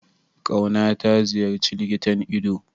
Kauna ta ziyarci likitan ido?